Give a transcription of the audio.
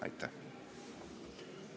Aitäh!